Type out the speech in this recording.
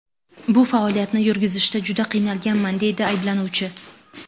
Bu faoliyatni yurgizishda juda qiynalganman”, deydi ayblanuvchi.